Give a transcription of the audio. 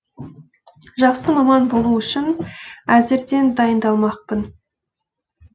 жақсы маман болу үшін әзірден дайындалмақпын